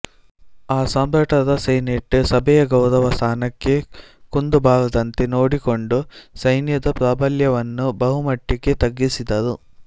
ಆ ಸಾಮ್ರಾಟರ ಸೆನೆಟ್ ಸಭೆಯ ಗೌರವ ಸ್ಥಾನಕ್ಕೆ ಕುಂದು ಬಾರದಂತೆ ನೋಡಿಕೊಂಡು ಸೈನ್ಯದ ಪ್ರಾಬಲ್ಯವನ್ನು ಬಹುಮಟ್ಟಿಗೆ ತಗ್ಗಿಸಿದರು